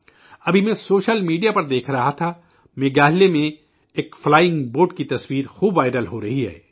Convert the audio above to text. ابھی میں social media پر دیکھ رہا تھا کہ میگھالیہ میں ایک فلائنگ بوٹ کی تصویر خوب وائرل ہو رہی ہے